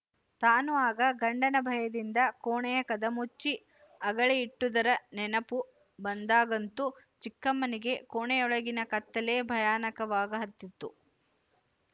ತಾನು ಆಗ ಗಂಡನ ಭಯದಿಂದ ಕೋಣೆಯ ಕದ ಮುಚ್ಚಿ ಅಗಳಿ ಇಟ್ಟುದರ ನೆನಪು ಬಂದಾಗಂತೂ ಚಿಕ್ಕಮ್ಮನಿಗೆ ಕೋಣೆಯೊಳಗಿನ ಕತ್ತಲೆ ಭಯಾನಕವಾಗಹತ್ತಿತು